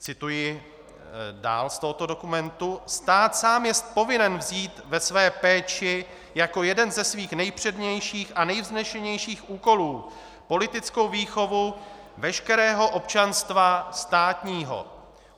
Cituji dál z tohoto dokumentu: Stát sám jest povinen vzít ve své péči jako jeden ze svých nejpřednějších a nejvznešenějších úkolů politickou výchovu veškerého občanstva státního.